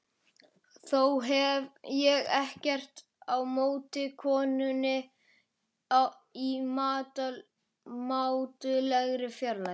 Þó hef ég ekkert á móti konunni í mátulegri fjarlægð.